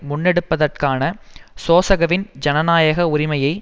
முன்னெடுப்பதற்கான சோசகவின் ஜனநாயக உரிமையை